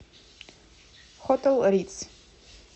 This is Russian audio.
хотел ритз